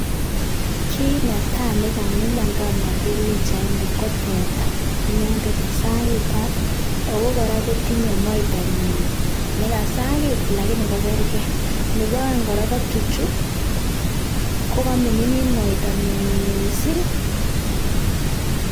kit netai negamilan kanager pichaini ko teta inendet nesagitat ago kora kotinye moitanyi negasit lakini kokerge. nebaeng kotukchu kogamining moet miising.